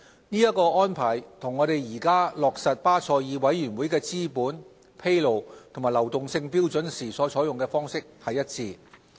這個安排與我們現時落實巴塞爾委員會的資本、披露和流動性標準時所採用的方式一致。